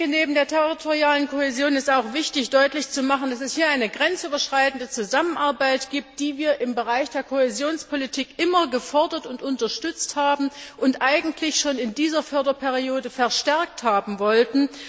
Neben der territorialen Kohäsion ist auch wichtig, deutlich zu machen, dass es hier eine grenzüberschreitende Zusammenarbeit gibt, die wir im Bereich der Kohäsionspolitik immer gefordert und unterstützt haben und eigentlich schon in dieser Förderperiode verstärkt haben wollten.